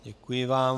Děkuji vám.